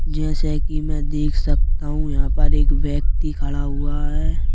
जैसे कि मैं देख सकता हूं यहाँ पर एक व्यक्ति खड़ा हुआ है।